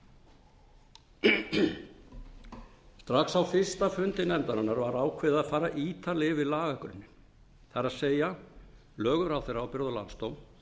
á þingi strax á fyrsta fundi nefndarinnar var ákveðið að fara ítarlega yfir lagagrunninn það er lög um ráðherraábyrgð og landsdóm